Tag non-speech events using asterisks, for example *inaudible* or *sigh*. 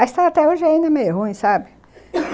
A estrada até hoje é ainda meio ruim, sabe? *coughs*